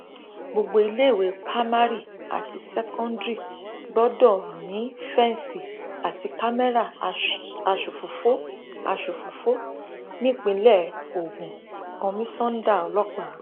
gbogbo iléèwé pa mari àti ṣẹkóńdírì gbọdọ ní fẹǹsì àti kámẹrà aṣòfófó aṣòfófó nípìnlẹ ogun kọmísáńdà ọlọpàá